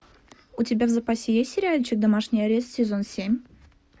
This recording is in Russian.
у тебя в запасе есть сериальчик домашний арест сезон семь